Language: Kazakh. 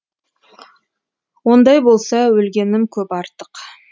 ондай болса өлгенім көп артық